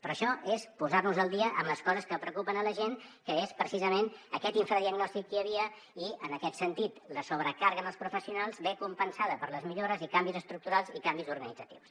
però això és posar nos al dia amb les coses que preocupen la gent que és precisament aquest infradiagnòstic que hi havia i en aquest sentit la sobrecàrrega en els professionals ve compensada per les millores i canvis estructurals i canvis organitzatius